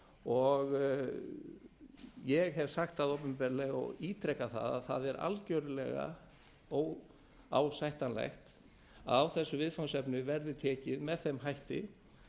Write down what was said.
og ég hef sagt það opinberlega og ítreka það að það er algjörlega óásættanlegt að á þessu viðfangsefni verði tekið með þeim hætti